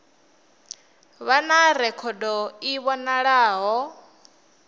vha na rekhodo i vhonalaho